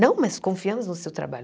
Não, mas confiamos no seu trabalho.